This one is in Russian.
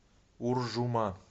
уржума